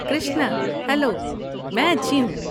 Krishna, hello. میں اچھی ہوں۔